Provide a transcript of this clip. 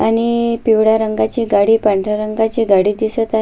आणि पिवळ्या रंगाची गाडी पांढऱ्या रंगाची गाडी दिसत आ--